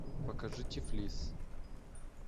покажи тифлис